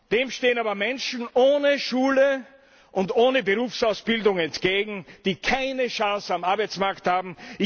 Dem stehen aber Menschen ohne Schulausbildung und ohne Berufsausbildung entgegen, die keine Chance am Arbeitsmarkt haben.